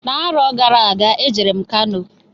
N'arọ gara aga e jere m Kano.